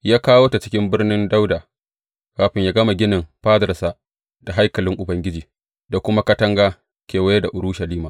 Ya kawo ta cikin Birnin Dawuda kafin yă gama ginin fadarsa, da haikalin Ubangiji, da kuma katanga kewaye da Urushalima.